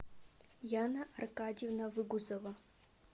яна аркадьевна выгузова